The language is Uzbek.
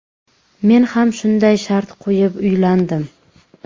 Men ham shunday shart qo‘yib uylandim.